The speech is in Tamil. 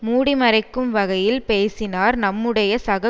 மூடிமறைக்கும் வகையில் பேசினார் நம்முடைய சக